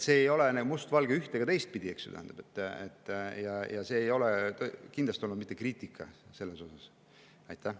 See ei ole mustvalge ei üht‑ ega teistpidi, ja see ei olnud kindlasti mitte kriitika selle pihta.